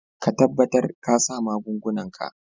Ka tabatar ka sa magungunan ka.